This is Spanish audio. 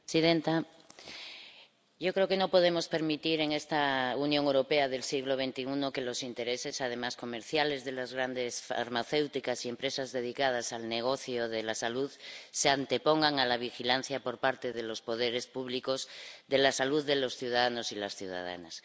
Señora presidenta, yo creo que no podemos permitir en esta Unión Europea del siglo XXI que los intereses, además comerciales, de las grandes farmacéuticas y empresas dedicadas al negocio de la salud se antepongan a la vigilancia, por parte de los poderes públicos, de la salud de los ciudadanos y las ciudadanas.